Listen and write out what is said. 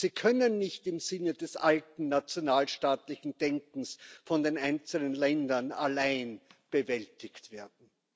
Sie können nicht im Sinne des alten nationalstaatlichen Denkens von den einzelnen Ländern allein bewältigt werden.